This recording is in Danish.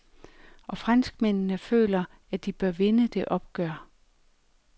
Og franskmændene føler, at de bør vinde det opgør.